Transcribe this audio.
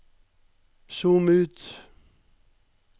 zoom ut